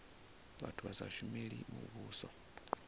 vhathu vha sa shumeli muvhuso